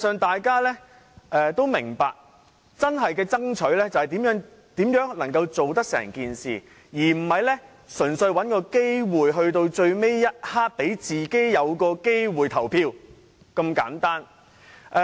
大家都明白，真正要爭取的是如何將方案落實，而不是純粹找機會讓自己在最後一刻有機會投票這樣簡單。